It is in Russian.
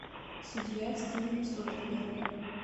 судья стивена содерберга